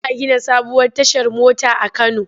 Za a gina sabuwar tashar mota a Kano.